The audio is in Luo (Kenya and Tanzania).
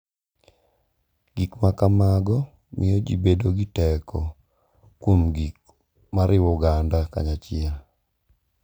Gik ma kamago miyo ji bedo gi teko kuom gik ma riwo oganda kanyachiel.